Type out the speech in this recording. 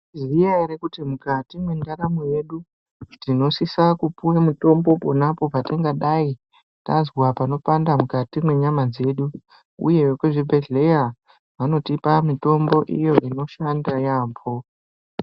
Munozviziya ere kuti mukati mundaramo yedu tinosisa kupiwe mutombo ponapo patingadai tazwa panopanda mukati mwenyama dzedu uye vekuzvibhehleyya vanotipa mitombo iyo inoshanda yaamho.